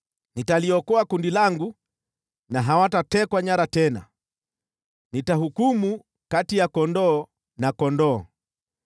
nitaliokoa kundi langu na hawatatekwa nyara tena. Nitahukumu kati ya kondoo na kondoo.